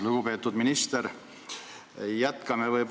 Lugupeetud minister!